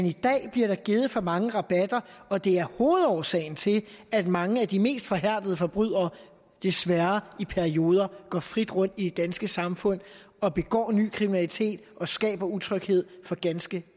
i dag bliver der givet for mange rabatter og det er hovedårsagen til at mange af de mest forhærdede forbrydere desværre i perioder går frit rundt i det danske samfund og begår ny kriminalitet og skaber utryghed for ganske